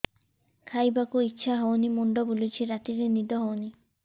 ଖାଇବାକୁ ଇଛା ହଉନି ମୁଣ୍ଡ ବୁଲୁଚି ରାତିରେ ନିଦ ହଉନି